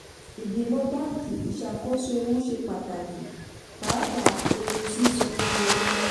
ìgbìmọ̀ báńkì: ìṣàkóso ewu ṣe pàtàkì pàápàá ewu sísanwó wọlé.